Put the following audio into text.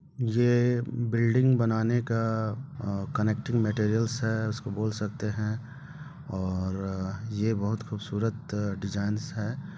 ये बिल्डिंग बनाने का अ कनेक्टिंग मटेरियलस है उसको बोल सकते हैं और ये बहुत खूबसूरत डिजाइनस हैं।